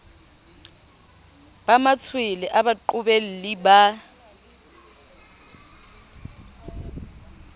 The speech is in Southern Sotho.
ba matshwele a baqobelli ba